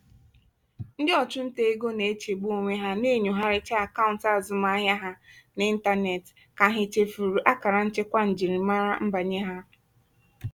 ndị ọchụnta ego na-echegbu onwe ha na-enyochagharị akaụntụ azụmaahịa ha n'ịntanetị ka ha chefuru akara nchekwa njirimara nbanye ha.